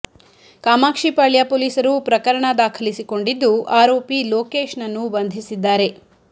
ಕಾಮಾಕ್ಷಿಪಾಳ್ಯ ಪೊಲೀಸರು ಪ್ರಕರಣ ದಾಖಲಿಸಿ ಕೊಂಡಿದ್ದು ಆರೋಪಿ ಲೋಕೇಶ್ ನನ್ನು ಬಂಧಿಸಿದ್ದಾರೆ